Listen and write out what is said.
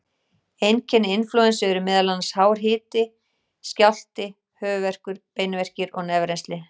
Einkenni inflúensu eru meðal annars hár hiti, skjálfti, höfuðverkur, beinverkir og nefrennsli.